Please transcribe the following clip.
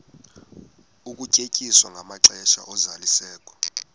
ukunyenyiswa kwamaxesha ozalisekiso